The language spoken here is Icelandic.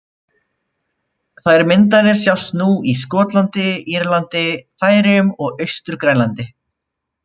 Þær myndanir sjást nú í Skotlandi, Írlandi, Færeyjum og Austur-Grænlandi.